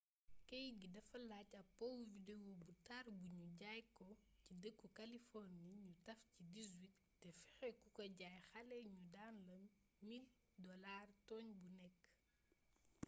keyt gi dafay laaj ab powu video bu tar bu nu jaay ko ci dëkku kaliforni nu taf ci 18 te fexe ku ka jaay xale ñu daan la $1000 tooñ bu nekk